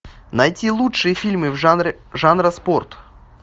найти лучшие фильмы жанра спорт